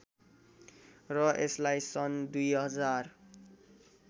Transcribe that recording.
र यसलाई सन् २०००